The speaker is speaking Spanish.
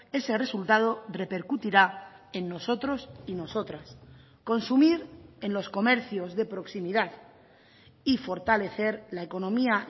ese resultado repercutirá en nosotros y nosotras consumir en los comercios de proximidad y fortalecer la economía